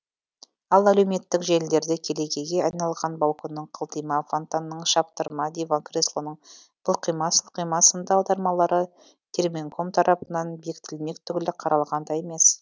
ал әлеуметтік желілерде келекеге айналған балконның қылтима фонтанның шаптырма диван креслоның былқима сылқима сынды аудармалары терминком тарапынан бекітілмек түгілі қаралған да емес